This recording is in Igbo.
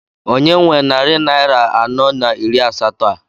Onye nwe narị naira anọ na iri asatọ a?